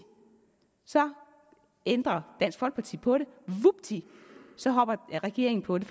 så ændrer dansk folkeparti på det og vupti så hopper regeringen på det